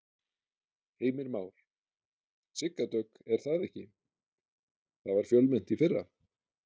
Heimir Már: Sigga Dögg er það ekki, það var fjölmennt í fyrra?